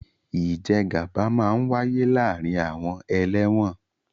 Ìjẹgàba máa ń wáyé láàárín àwọn ẹlẹ́wọ̀n